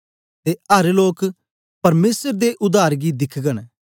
ते अर लोक परमेसर दे उद्धार गी दिखगन